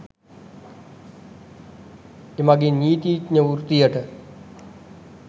එමගින් නීතිඥ වෘත්තියට